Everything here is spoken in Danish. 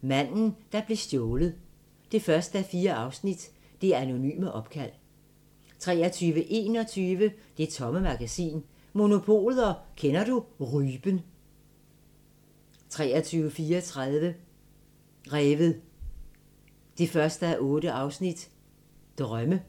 Manden, der blev stjålet 1:4 – Det anonyme opkald 23:21: Det Tomme Magasin: Monopolet og Kender Du Rypen 23:34: Revet 1:8 – Drømme